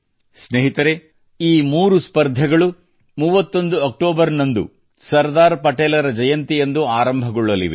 ಸ್ನೇಹಿತರೆ ಈ ಮೂರು ಸ್ಪರ್ಧೆಗಳು 31 ಅಕ್ಟೋಬರ್ ದಂದು ಸರ್ದಾರ್ ಪಟೇಲರ ಜಯಂತಿಯಂದು ಆರಂಭಗೊಳ್ಳಲಿವೆ